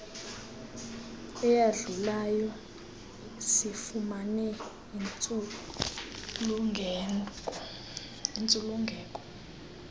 eyadlulayo sifumane intsulungeko